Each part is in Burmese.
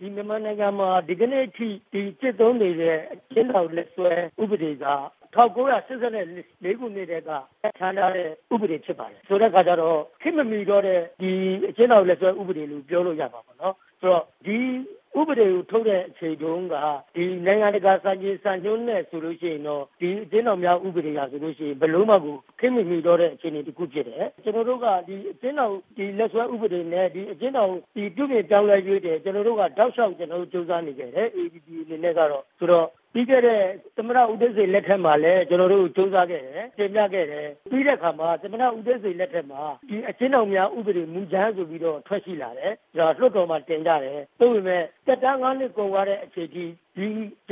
ဒီမြန်မာနိုင်ငံမှာ ဒီကနေ့အထိ ကျင့်သုံးနေတဲ့ အကျင်းထောင်လက်စွဲဥပဒေက ၁၉၈၄ ခုနှစ်ကတည်းက ပြဌာန်းထားတဲ့ ဥပဒေဖြစ်ပါတယ်။ ဆိုတဲ့အခါကျတော့ ခေတ်မမှီတော့တဲ့ အကျင်းထောင်လက်စွဲဥပဒေလို့ ပြောလို့ရမှာပေါ့နော်။ ဒီဥပဒေကိုထုတ်တဲ့အချိန်တုန်းက နိုင်ငံတကာ စံချိန်စံညွှန်းနဲ့ဆိုရင်တော့ အကျင်းထောင်များဥပဒေက ဘယ်လိုမှကို ခေတ်မမှီတော့တဲ့အခြေအနေတခုဖြစ်တယ်။ ကျနော်တို့က အကျင်းထောင်လက်စွဲဥပဒေနဲ့ အကျင်းထောင်ပြုပြင်ပြောင်းလဲရေးအတွက် ကျနော်တို့ တောက်လျှောက်ကျနော်တို့ ကြိုးစားနေတယ် AAPPB အနေနဲ့ကတော့။ ဆိုတော့ပြီးခဲ့တဲ့ သမ္မတ ဦးသိန်းစိန်လက်ထက်မှာလည်း ကျနော်တို့ကြိုးစားခဲ့တယ်၊ တင်ပြခဲ့တယ်။ ပြီးတဲ့အခါမှာ သမ္မတ ဦးသိန်းစိန်လက်ထက်မှာ အကျဉ်းထောင်များဥပဒေမူကြမ်းဆိုပြီးတော့ ထွက်လာတယ် ၊ လွှတ်တော်မှာတင်ပြတယ်။ သို့ပေမယ့် သက်တမ်း ၅ နှစ်တာ ကုန်သွားတဲ့အချိန်အထိ အကျ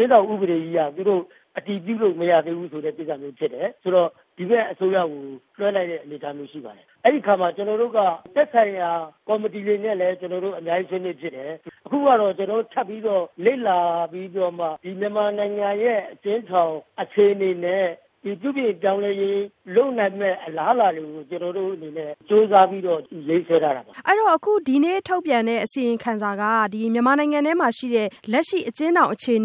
င်းထောင်ဥပဒေက အတည်ပြုလို့မရသေးဘူးဆိုတဲ့ ကိစ္စမျိုးဖြစ်တယ်။ ဆိုတော့ ဒီဘက်ကိစ္စကို လွှဲလိုက်တဲ့အနေအထားမျိုးရှိပါတယ်။ ဆိုတော့ အဲဒီအခါမျိုးမှာ ကျနော်တို့က သက်ဆိုက်ရာကော်မတီတွေနဲ့လည်း အများကြီးဆွေးနွေးဖြစ်တယ်။ အခုကတော့ ကျနော်တို့ ထပ်ပြီးတော့ လေ့လာပြီးတော့မှ ဒီမြန်မာနိုင်ငံရဲ့ အကျဉ်းထောင်အခြေအနေနဲ့ ပြုပြင်ပြောင်းလဲရေးလုပ်နိုင်မယ့် အလားအလာတွေကို ကျနော်တို့အနေနဲ့ ကြိုးစားပြီးတော့ ရေးဆွဲထားတာပါ။ မဆုမွန်။ ။ အဲ့ဒီ့တော့ ဒီနေ့ထုတ်ပြန်တဲ့အစီရင်ခံစာက လက်ရှိ မြန်မာနိုင်ငံထဲမှာ ရှိတဲ့ အခြေအ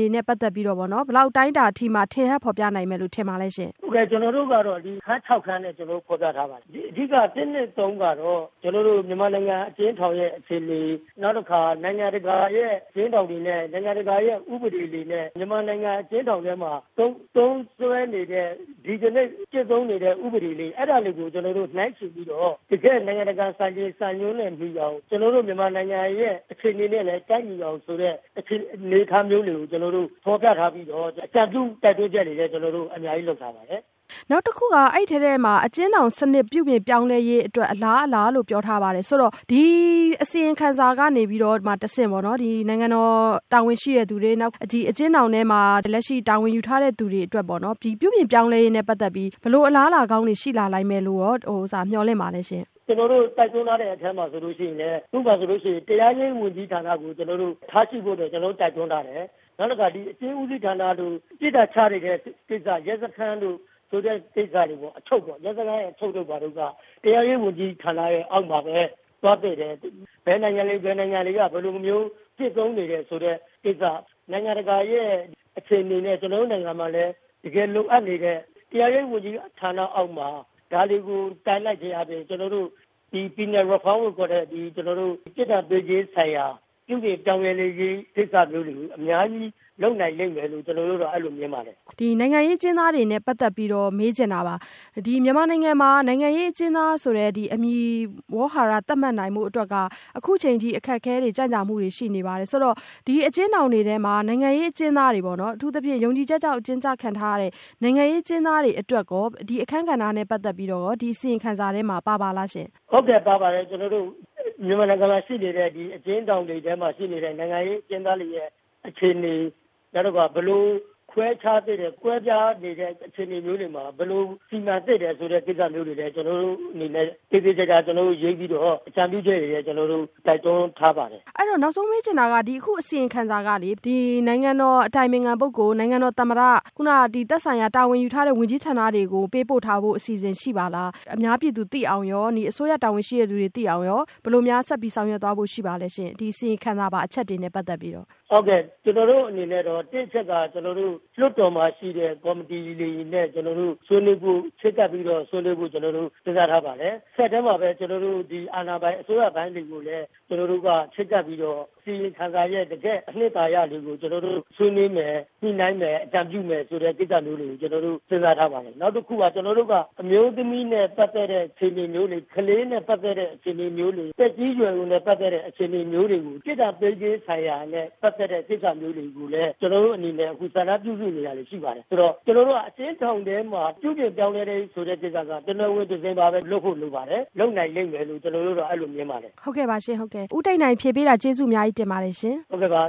နေနဲ့ပတ်သက်ပြီး ဘယ်လောက်အတိုင်းအတာအထိ ထင်ဟပ်ဖော်ပြနိုင်မယ်ထင်ပါသလဲရှင့်။ ဦးတိတ်နိုင်။ ။ ကျနော်တို့ကတော့ အခန်း ၆ ခန်းနဲ့ ဖော်ပြထားပါတယ်။ အထိက ၁၊ ၂ ၊ ၃ ကတော့ မြန်မာနိုင်ငံအကျဉ်းထောင်ရဲ့အခြေအနေ နောက်တခါ နိုင်ငံတကာအကျဉ်းထောင်တွေနဲ့ ၊ နိုင်ငံတကာ ဥပဒေတွေနဲ့ မြန်မာနိုင်ငံ အကျဉ်းထောင်ထဲမှာ သုံးစွဲနေတဲ့ ဒီကနေ့ ကျင့်သုံးနေတဲ့ ဥပဒေတွေ အဲဒါမျိုးတွေကို ကျနော်တို့ နိုင်းယှဉ်ပြီးတော့ တကယ့်နိုင်ငံတကာ စံချိန်စံညွန်းတွေနဲ့ညီအောင် ကျနော်တို့ မြန်မာနိုင်ငံရဲ့ အခြေအနေနဲ့လည်း ကိုက်ညီအောင်ဆိုတဲ့ အနေအထားမျိုးတွေကို ကျနော်တို့ ဖော်ပြထားပြီးတော့ အကြံပြုတိုက်တွန်းချက်တွေအနေနဲ့ ကျနော်တို့အများကြီးလုပ်ထားပါတယ်။ မဆုမွန်။ ။ အဲ့ဒီ့အစီရင်ခံစာထဲမှာ အကျဉ်းထောင်ပြုပြင်ပြောင်းလဲရေး အတွက် အလားအလာလို့ ပြောထားပါတယ်။ ဆိုတော့ဒီအစီရင်ခံစာကနေပြီးတော့မှ တဆင့်ပေါ့နော် နိုင်ငံတော်တာဝန်ရှိသူတွေ၊ အကျဉ်းထောင်ထဲမှာ ဆောင်ရွက်နေတဲ့ သူတွေ၊လက်ရှိတာဝန်ယူထားတဲ့သူတွေ အတွက် ပြုပြင်ပြောင်းလဲရေး ဘယ်လိုအလားအလာကောင်းတွေရှိလာနိုင်မယ်လို့ရော မျှော်လင့်ပါလဲရှင့်။ ဦးတိတ်နိုင်။ ။ကျနော်တို့ တိုက်တွန်းထားတဲ့အထဲမှာဆိုရင်လည်း ဥပမာဆိုရင်တရားရေးဝန်ကြီးဌာနကို ကျနော်တို့ ထားရှိဖို့အတွက် ကျနော်တို့ တိုက်တွန်းထားတယ်။ နောက်တခါ ဒီအကျဉ်းဦးစီးဌာနတို့ ၊ ပြစ်ဒဏ်ချနေတဲ့ ကိစ္စ ရဲစခန်းတို့ ဆိုတဲ့ကိစ္စတွေပေါ့၊ အချုပ်တို့ ဘာတို့က တရားရေးဝန်ကြီးဌာနရဲ့အောက်မှာပဲ သွားသင့်တယ်။ ဘယ်နိုင်ငံတွေ ဘယ်နိုင်ငံတွေက ဘယ်လိုမျိုးကျင့်သုံးနေတယ်ဆိုတဲ့ဟာကို နိုင်ငံတကာရဲ့အခြေအနေနဲ့ ကျနော်တို့နိုင်ငံမှာလည်း တကယ်လိုအပ်နေတဲ့ တရားရေးဝန်ကြီး ဌာနအောက်မှာ ဒါတွေကို ထားလိုက်ခြင်းဖြင့် ကျနော်တို့ ပြစ်ဒဏ်ပေးခြင်းဆိုင်ရာ ပြုပြင်ပြောင်းလဲမှုတွေကို အများကြီးလုပ်နိုင်လိမ့်မယ်လို့ မြင်ပါတယ်။ မဆုမွန်။ ။ နောက်ဆုံးတခုမေးချင်တာကတော့ နိုင်ငံရေးအကျဉ်းသားတွေနဲ့ ပတ်သက်ပြီးမေးချင်တာပါ။ မြန်မာနိုင်ငံမှာ နိုင်ငံရေးအကျဉ်းသားဆိုတဲ့ အမည်ဝေါဟာရဆိုပြီး သတ်မှတ်နိုင်ဖို့က အခုအချိန်အထိ အခက်အခဲတွေ၊ ကြန့်ကြာမှုတွေရှိနေပါတယ်။ ဒါကြောင့် အကျဉ်းထောင်တွေထဲ အကျဉ်းသားတွေ၊ အထူးသဖြင့် ယုံကြည်ချက်ကြောင့် အကျဉ်းကျခံနေရတဲ့ နိုင်ငံရေးအကျဉ်းသားတွေအတွက် အခန်းကဏ္ဍနဲ့ပတ်သက်ပြီး ဒီအစီရင်ခံစာထဲမှာ ပါပါလားရှင့်။ ဦးတိတ်နိုင်။ ။ ဟုတ်ကဲ့။ ပါပါတယ်ခင်ဗျ။ ကျနော်တို့မြန်မာနိုင်ငံမှာရှိနေတဲ့ အကျဉ်းထောင်တွေ မှာရှိနေတဲ့ နိုင်ငံရေးအကျဉ်းသားတွေရဲ့ အခြေအနေ နောက်တခါ ဘယ်လိုခွဲခြားသေးတယ်၊ ဘယ်လိုခွဲခြားနေတဲ့အခြေအနေမျိုးတွေမှာ ဘယ်လိုစီမံသင့်တယ်ဆိုတာမျိုးတွေကို ကျနော်တို့အနေနဲ့ သေသေချာချာရေးပြီးတော့ အကြံပြုချက်အနေနဲ့ တိုက်တွန်းထားပါတယ်။ မဆုမွန်။ ။ ဒီအစီရင်ခံစာက ဘယ်သူတွေကိုပေါ့နော် အထူးသဖြင့် နိုင်ငံတော်အတိုင်ပင်ခံပုဂ္ဂိုလ်၊ နိုင်ငံတော်သမ္မတ၊ သက်ဆိုင်ရာတာဝန်ယူထားတဲ့ဝန်ကြီးဌာနတွေကို ပေးပို့ထားဖို့ အစီအစဉ်ရှိပါလား။ ဒီအစီရင်ခံစာက အများပြည်သူသိရှိနိုင်အောင်ရော အစိုးရတာဝန်ရှိသူတွေသိအောင်ရော ဘယ်လိုများ ဆက်ပြီး ဆောင်ရွက်သွားဖို့ ရှိပါသလဲရှင့်။ ဒီအစီရင်ခံစာပါ အချက်တွေနဲ့ပတ်သက်ပြီးတော့။ ဦးတိတ်နိုင်။ ။ ဟုတ်ကဲ့ ကျနော်တို့အနေနဲ့ကတော့ ၁ အချက်က ကျနော်တို့ လွှတ်တော်မှာရှိတဲ့ကော်မတီတွေနဲ့ ကျနော်တို့ ဆွေးနွေးဖို့ စဉ်းစားထားပါတယ်။ တဆက်တည်းမှာပဲ အာဏာပိုင်အစိုးရပိုင်းတွေကိုလည်း ကျနော်တို့က ချဉ်းကပ်ပြီးတော့ အစီရင်ခံစာရဲ့တကယ့်အနှစ်သာရတွေကို ကျနော်တို့ဆွေးနွေးမယ်၊ ညှိနှိုင်းမယ်၊ အကြံပြုမယ်ဆိုတဲ့ကိစ္စမျိုးတွေ ကျနော်တို့ စဉ်းစားထားပါတယ်။ နောက်တခုက ကျနော်တို့က အမျိုးသမီးနဲ့ပတ်သက်တဲ့အခြေအနေမျိုးတွေ ၊ ကလေးနဲ့ ပတ်သက်တဲ့အခြေနေမျိုးတွေ၊ သက်ကြီးရွယ်အိုနဲ့ ပတ်သက်တဲ့အခြေအနေမျိုးတွေကို ၊ ပြစ်ဒဏ်ပေးခြင်းဆိုင်ရာနဲ့ ပတ်သက်တဲ့ဟာမျိုးတွေကို ကျနော်တို့အနေနဲ့ စာတမ်းပြုစုနေတာတွေရှိပါတယ်။ အဲဒီတော့ ကျနော်တို့က အကျဉ်းထောင်ထဲမှာ ပြုပြင်ပြောင်းလဲဖို့ကိစ္စက တော်တော်ကို "တနွယ်ငင် တစင်ပါ" လုပ်ဖို့ လိုပါတယ် ။ လုပ်နိုင်လိမ့်မယ်လို့ ကျနော်တို့က အဲဒီလိုမြင်ပါတယ်။ မဆုမွန်။ ။ဦးတိတ်နိုင် ဖြေပေးတာကျေးဇူးအများကြီးတင်ပါတယ်။ ဦးတိတ်နိုင်။ ။ဟုတ်ကဲ့ပါ